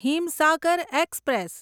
Himsagar express